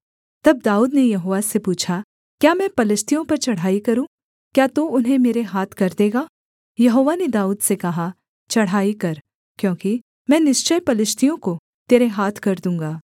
तब दाऊद ने यहोवा से पूछा क्या मैं पलिश्तियों पर चढ़ाई करूँ क्या तू उन्हें मेरे हाथ कर देगा यहोवा ने दाऊद से कहा चढ़ाई कर क्योंकि मैं निश्चय पलिश्तियों को तेरे हाथ कर दूँगा